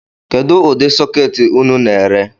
Kedu udi sụketi unu na-ere?